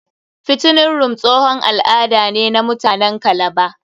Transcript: Fattening room tsohon al'ada ne na muatanen kalaba.